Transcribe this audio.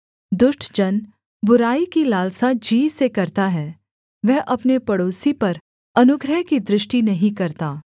दुष्ट जन बुराई की लालसा जी से करता है वह अपने पड़ोसी पर अनुग्रह की दृष्टि नहीं करता